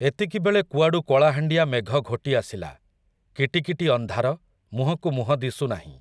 ଏତିକିବେଳେ କୁଆଡ଼ୁ କଳାହାଣ୍ଡିଆ ମେଘ ଘୋଟିଆସିଲା, କିଟିକିଟି ଅନ୍ଧାର, ମୁହଁକୁ ମୁହଁ ଦିଶୁନାହିଁ ।